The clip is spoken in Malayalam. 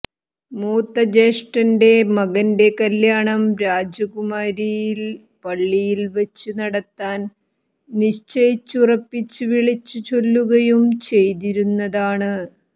മൂത്ത ജേഷ്ഠന്റെ മകന്റെ കല്യാണം രാജകുമാരിയിൽ പള്ളിയിൽ വെച്ച് നടത്താൻ നിശ്ചയിച്ച് ഉറപ്പിച്ച് വിളിച്ച് ചൊല്ലുകയും ചെയ്തിരുന്നതാണ്